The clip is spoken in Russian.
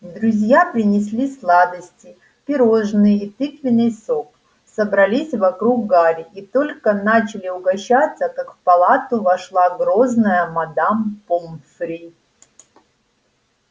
друзья принесли сладости пирожные и тыквенный сок собрались вокруг гарри и только начали угощаться как в палату вошла грозная мадам помфри